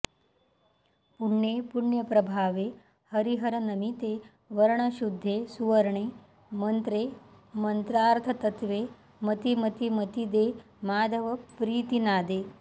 पुण्ये पुण्यप्रभावे हरिहरनमिते वर्णशुद्धे सुवर्णे मन्त्रे मन्त्रार्थतत्त्वे मतिमतिमतिदे माधवप्रीतिनादे